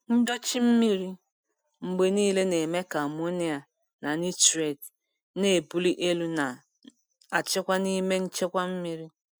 Ndochi mmiri mgbe niile na-eme ka amonia na nitrate na-ebuli elu na-achịkwa n'ime nchekwa mmiri.